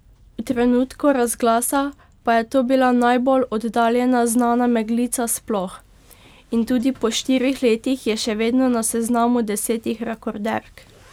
V trenutku razglasa je to bila najbolj oddaljena znana meglenica sploh, in tudi po štirih letih je še vedno na seznamu desetih rekorderk.